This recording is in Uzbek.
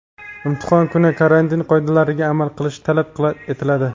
Imtihon kuni karantin qoidalariga amal qilish talab etiladi.